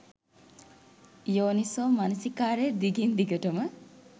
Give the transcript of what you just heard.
යෝනිසෝ මනසිකාරය දිගින් දිගටම